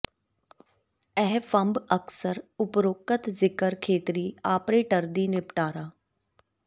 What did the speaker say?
ਇਹ ਫੰਡ ਅਕਸਰ ਉਪਰੋਕਤ ਜ਼ਿਕਰ ਖੇਤਰੀ ਆਪਰੇਟਰ ਦੀ ਨਿਪਟਾਰਾ